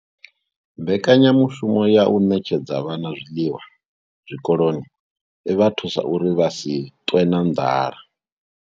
Mbekanyamushumo ya u ṋetshedza vhana zwiḽiwa zwikoloni i vha thusa uri vha si ṱwe na nḓala